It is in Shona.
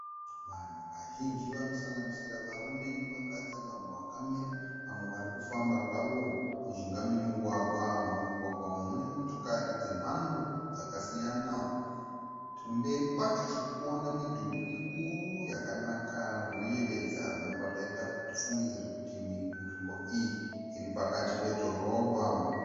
Vanhu vazhinji vanosanganisira varume nevakadzi vamwe vakamira vamwe varikufamba zvavo mujinga memugwagwa. Mumugwagwa umu mune motokari dzemhando dzakasiyana . Kumberi kwacho tirikuona midhuri mikuru yakanaka zvinoyevedza zvinobva zvaita kuti tifungidzire kuti nzvimbo iyi iri pakati pedhorobha .